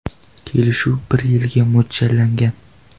Kelishuv bir yilga mo‘ljallangan.